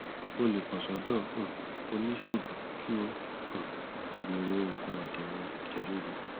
o lè kàn sọdọ um oníṣègùn kí o um sì bẹrẹ òògùn adènà ẹjẹ ríru